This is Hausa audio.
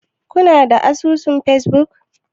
Kuna da asusun facebook?